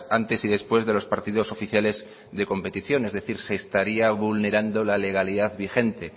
antes y después de los partidos oficiales de competición es decir se estaría vulnerando la legalidad vigente